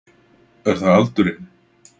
Er það aldurinn?